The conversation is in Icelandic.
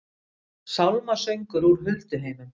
Sálmasöngur úr hulduheimum